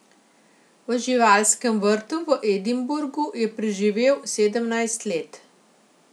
V živalskem vrtu v Edinburgu je preživel sedemnajst let.